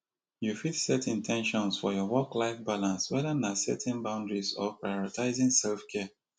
you fit set in ten tions for your worklife balance whether na setting boundaries or prioritizing selfcare